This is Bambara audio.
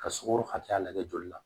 Ka sukaro hakɛya lajɛ joli la